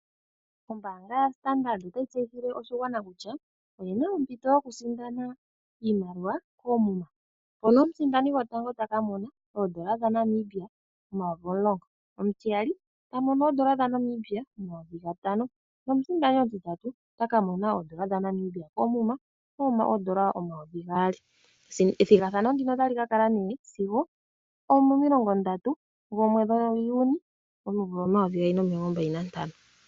Ombaanga yaStandard otayi tseyithile oshigwana kutya oyina ompito yokusindana iimaliwa koomuma mpono omusindani gwotango takamona oodola dhaNamibia omayovi omulongo, omutiyali tamono oodola dhaNamibia omayovi gatano nomusindani omutitatu otaka mona oodola dhaNamibia koomuma omayovi gaali ethigathano ndino otalikakala nee sigo omomilongo ndatu gaJuni omayovi gaali nomilongo mbali nantano.